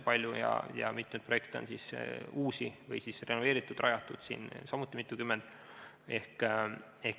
Palju on ka mitmeid uusi projekte või siis renoveeritud ja rajatud keskusi samuti mitukümmend.